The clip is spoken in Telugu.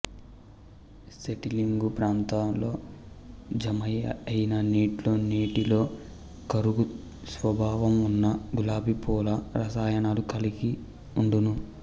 సెటిలింగు పాత్రలో జమ అయిన నీట్లో నీటిలో కరుగు స్వాభావం వున్న గులాబీ పూల రసాయనాలు కరగి వుండును